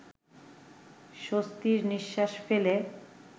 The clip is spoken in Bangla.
স্বস্তির নিঃশ্বাস ফেলে